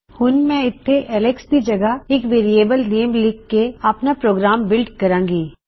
ਹੁਣ ਮੈਂ ਇਥੇ ਅਲੈਕਸ ਦੀ ਜਗਹ ਇਕ ਵੇਅਰਿਏਬਲ ਨੇਮ ਲਿਖ ਕੇ ਆਪਣਾ ਪ੍ਰੋਗਰਾਮ ਬਿਲ੍ਡ ਕਰਾਂਗੀ